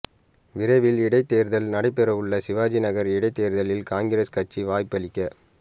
விரைவில் இடைத்தேர்தல் நடைபெற உள்ள சிவாஜிநகர் இடைத்தேர்தலில் காங்கிரஸ் கட்சி வாய்ப்பளிக்க